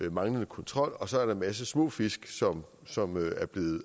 af manglende kontrol og så er der en masse små fisk som som